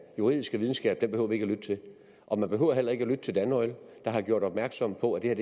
juridiske videnskab behøver vi ikke at lytte til og man behøver heller ikke at lytte til danoil der har gjort opmærksom på at